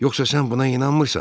Yoxsa sən buna inanmırsan?